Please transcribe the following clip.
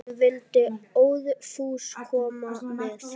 Hún vildi óðfús koma með.